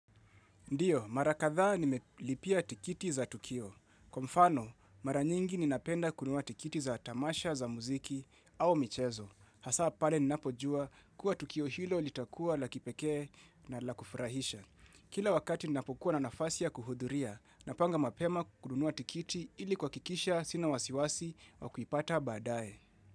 Ndio, marakadhaa nimelipia tikiti za Tukio. Kwa mfano, mara nyingi ninapenda kunua tikiti za tamasha za muziki au michezo. Hasa pale ninapojua kuwa Tukio hilo litakua la kipekee na la kufurahisha. Kila wakati ninapokuwa na nafasi ya kuhudhuria, napanga mapema kununua tikiti ili kuakikisha sina wasiwasi wa kuipata baadaye.